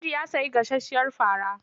Audu ya sayi gasasshiyar fara.